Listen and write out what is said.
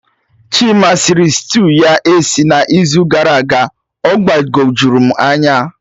Chima sịrị stew ya esi na izu gara aga, ọ gbagojuru m anya